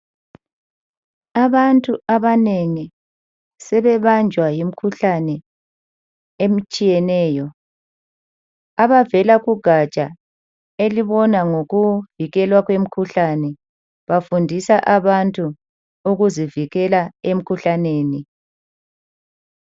Abantu abanengi sebebanjwa yimkhuhlane etshiyeneyo, abavela kugatsha elibona ngokuvikelwa kwemkhuhlane bafundisa abantu ukuzivikela emkhuhlaneni.